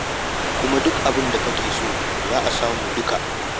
Kuma duk abin da kake so za a samu duka.